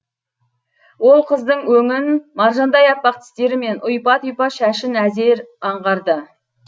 ол қыздың өңін маржандай аппақ тістері мен ұйпа тұйпа шашын әзер аңғарды